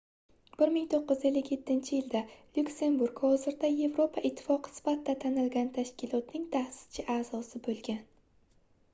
1957-yilda lyuksemburg hozirda yevropa ittifoqi sifatida tanilgan tashkilotning taʼsischi aʼzosi boʻlgan